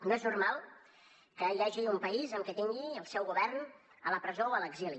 no és normal que hi hagi un país que tingui el seu govern a la presó o a l’exili